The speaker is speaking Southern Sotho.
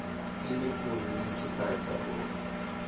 e le ho nnetefatsa hore